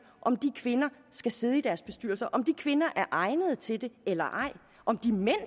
om de kvinder skal sidde i deres bestyrelser om de kvinder er egnet til det eller ej og om de mænd